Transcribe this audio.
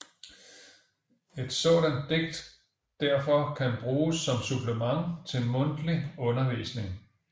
Et sådant digt derfor kan bruges som supplement til mundtlig undervisning